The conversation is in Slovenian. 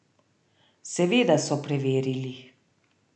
Seveda so preverili.